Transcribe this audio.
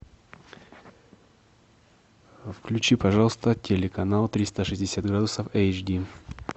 включи пожалуйста телеканал триста шестьдесят градусов эйч ди